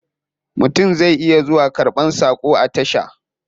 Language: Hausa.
Mutum zai iya zuwa karban sakon a tasha.